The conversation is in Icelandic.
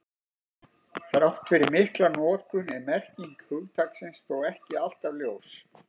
Þrátt fyrir mikla notkun er merking hugtaksins þó ekki alltaf ljós.